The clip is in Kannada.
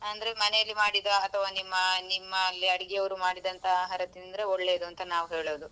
ಅಂದ್ರೆ ಮನೇಲಿ ಮಾಡಿದ ಅಥವಾ ನಿಮ್ಮ ನಿಮ್ಮಲ್ಲಿ ಅಡುಗೆಯವ್ರು ಮಾಡಿದಂತಹ ಆಹಾರ ತಿಂದ್ರೆ ಒಳ್ಳೇದು ಅಂತ ನಾವ್ ಹೇಳೋದು.